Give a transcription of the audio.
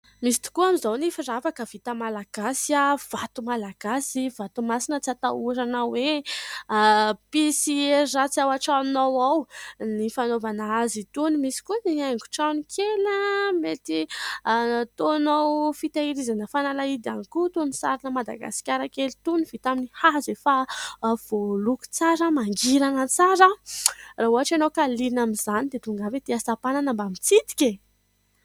Misy tokoa amin'izao ny firavaka vita malagasy .Vato malagasy, vato masina tsy hatahoranao hoe hampisy hery ratsy ao an-tranonao ao ny fanaovana azy itony. Misy koa ny haingon-trano kely mety nataonao fitehirizana nafanalahidy ihany koa toy ny sarina madagasikara kely toa vita amin'ny hazo efa voaloko tsara, mangirana tsara , raha ohatra ianao ka liana amin'izany dia tongava ety Antsapanana mba miitsidika.